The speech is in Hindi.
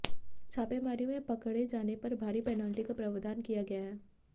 छापेमारी में पकड़े जाने पर भारी पेनल्टी का प्रावधान किया गया है